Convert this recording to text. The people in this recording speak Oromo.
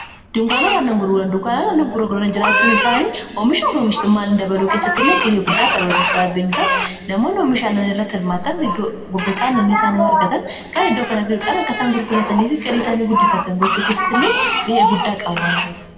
diunkaanotaannan gurguran dukaanaan anna gurragrran jiraachuun isaanii hoomisha fomishtumaan dabalou kessatti illee gahee guddaa taphatu sababbiinsaas namoonni hoomishaannan irratti hirmaatan gurgotaannannii isaanii wargatan kaae idoo kana fi dhuudhan akkaisaan gurgulatanii fi galii isaanii guddifatan gochuu kessatti illee gahee guddaa qaba wan ta'ef